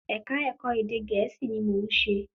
Ẹ̀kà Ẹ̀kọ́ ẹ̀dẹ̀ Gẹ̀ẹ́sì ni mò ún ṣe